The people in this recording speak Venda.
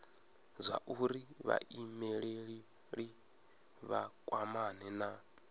zwauri vhaimeleli vha kwamane na